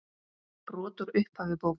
Brot úr upphafi bókar